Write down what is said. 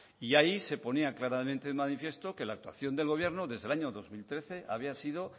y ya ahí se ponía claramente de manifiesto que la actuación del gobierno desde el año dos mil trece había sido